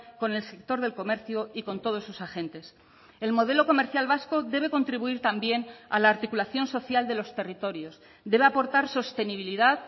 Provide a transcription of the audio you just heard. con el sector del comercio y con todos sus agentes el modelo comercial vasco debe contribuir también a la articulación social de los territorios debe aportar sostenibilidad